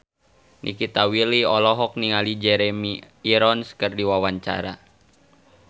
Nikita Willy olohok ningali Jeremy Irons keur diwawancara